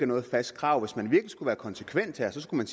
noget fast krav hvis man virkelig skulle være konsekvent her skulle